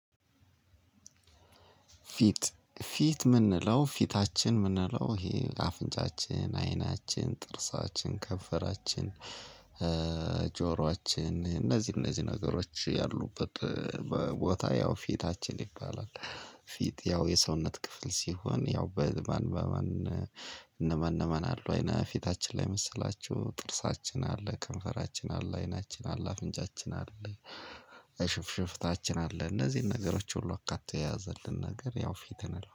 ፊት ፊት የምንለው ፊታችን የምንለው ይሄ አፍንጫችን አይናችን ጥርሳችን ከንፈራችን ጆሮአችን እነዚህ እነዚህ ነገሮች ያሉበት ቦታ ያው ፊታችን ይባላል። ፊት ያው የሰውነት ክፍል ሲሆን ያው በማን በማን እነማን እነማን አሉ አይነ ፊታችን ላይ መሰላችሁ። ጥርሳችን አለ ከንፈራችን አለ አይናችን አለ አፍንጫችን አለ። ሽፍሽፍታችን አለ እነዚህን ነገሮች ሁሉ አካቶ የያዘልን ነገር ያው ፊት እንለዋለን